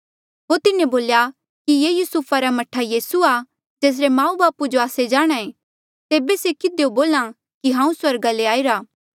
होर तिन्हें बोल्या कि ये युसुफा रा मह्ठा यीसू आ जेसरे माऊ बापू जो आस्से जाणहां ऐें तेबे से किधियो बोल्हा कि हांऊँ स्वर्गा ले आईरा